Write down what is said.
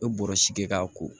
U bɛ bɔrɔsi kɛ k'a ko